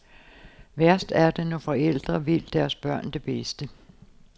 Værst er det, når forældre vil deres børn det bedste.